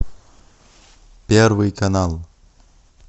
первый канал